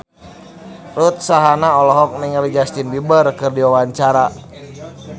Ruth Sahanaya olohok ningali Justin Beiber keur diwawancara